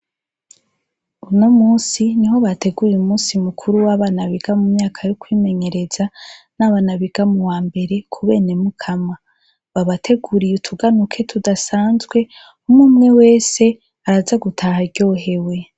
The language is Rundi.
Uno musi niho bateguye umusi mukuru w'abana biga mu myaka yo kwimenyereza n'abana biga mu wambere ku Bene Mukama. Babateguriye utuganuje tudasanzwe, umwe umwe wesa araza gutaha aryohewe.